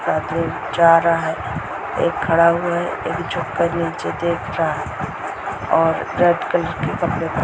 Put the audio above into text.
आदमी जा रहा है एक खड़ा हुआ है एक झुककर नीचे देख रहा है और रेड कलर के कपड़े प --